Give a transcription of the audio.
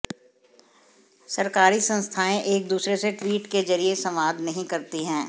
सरकारी संस्थाएं एक दूसरे से ट्वीट के जरिए संवाद नहीं करती हैं